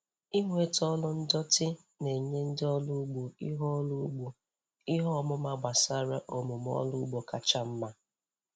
Ịnweta ọrụ ndọtị na-enye ndị ọrụ ugbo ihe ọrụ ugbo ihe ọmụma gbasara omume ọrụ ugbo kacha mma.